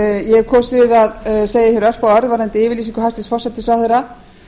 ég hef kosið að segja hér örfáorð varðandi yfirlýsingu hæstvirts forsætisráðherra